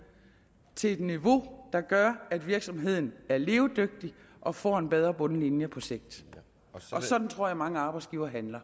til et niveau der gør at virksomheden er levedygtig og får en bedre bundlinje på sigt og sådan tror jeg mange arbejdsgivere handler